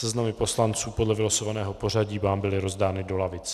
Seznamy poslanců podle vylosovaného pořadí vám byly rozdány do lavic.